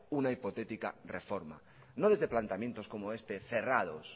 una hipotética reforma no desde planteamientos como este cerrados